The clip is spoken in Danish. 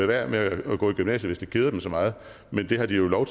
være med at gå i gymnasiet hvis det keder dem så meget men det har de jo lov